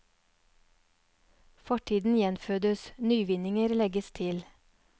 Fortiden gjenfødes, nyvinninger legges til.